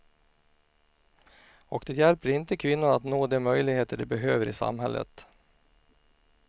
Och det hjälper inte kvinnor att nå de möjligheter de behöver i samhället.